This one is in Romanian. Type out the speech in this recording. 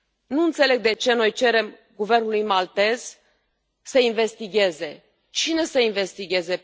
Nu înțeleg de ce noi cerem guvernului maltez să investigheze. Cine să investigheze?